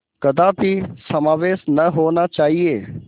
कदापि समावेश न होना चाहिए